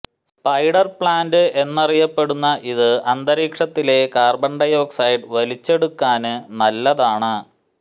spider plant എന്നറിയപ്പെടുന്ന ഇത് അന്തരീക്ഷത്തിലെ കാര്ബണ് ഡയോക്സൈഡ് വലിച്ചെടുക്കാന് നല്ലതാണ്